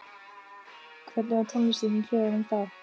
Hvernig var tónlistin í klefanum þá?